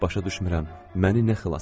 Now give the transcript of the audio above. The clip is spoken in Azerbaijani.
Başa düşmürəm, məni nə xilas elədi.